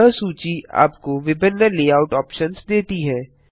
यह सूची आपको विभिन्न लेआउट ऑप्शन्स देती है